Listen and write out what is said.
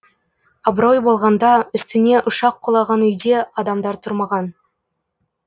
абырой болғанда үстіне ұшақ құлаған үйде адамдар тұрмаған